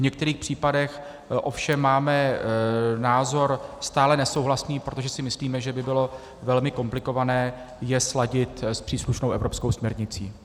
V některých případech ovšem máme názor stále nesouhlasný, protože si myslíme, že by bylo velmi komplikované je sladit s příslušnou evropskou směrnicí.